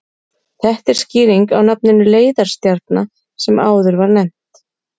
Þetta er skýringin á nafninu leiðarstjarna sem áður var nefnt.